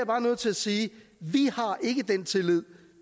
bare nødt til at sige vi har ikke den tillid